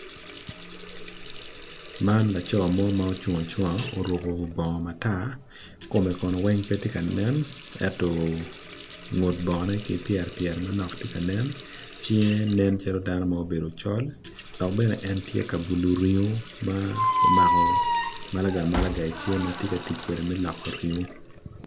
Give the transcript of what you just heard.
Man laco ma ocung ma oruko baongo matar. Kome kono pe tye kanen ento ngut bogone ki pyere tye ka nen. Cinge nencalo obedo dano macol dok bene tye ka bulu ringo dok omako malaga i cinge ma tye ka tic kwede me loko ringo.